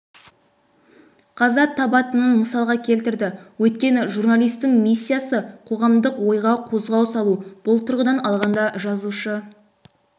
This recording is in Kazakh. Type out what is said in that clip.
қаза табатынын мысалға келтірді өйткені журналистің миссиясы қоғамдық ойға қозғау салу бұл тұрғыдан алғанда жазушы